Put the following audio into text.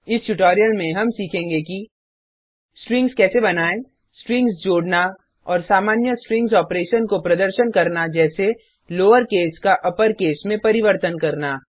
इस ट्यूटोरियल में हम सीखेंगे कि स्ट्रिंग्स कैसे बनायें स्ट्रिंग्स जोड़ना और सामान्य स्ट्रिंग्स ऑपरेशन को प्रदर्शन करना जैसे लोअरकेस का अपरकेस में परिवर्तन करना